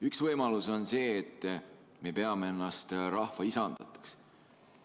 Üks võimalus on see, et me peame ennast rahva isandateks.